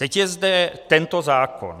Teď je zde tento zákon.